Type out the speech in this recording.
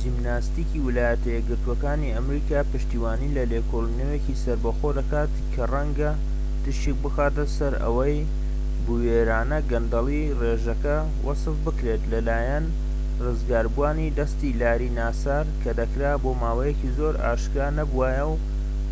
جیمناستیكی ویلایەتە یەکگرتووەکانی ئەمریکا پشتیوانی لە لێکۆڵینەوەیەکی سەربەخۆ دەکات کە ڕەنگە تشیک بخاتە سەر ئەوەی بوێرانە گەندەڵی ڕێژەکە وەسف بکرێت لە لایەن ڕزگاربووانی دەستی لاری ناسار کە دەکرا بۆ ماوەیەکی زۆر ئاشکرا نەبووایە و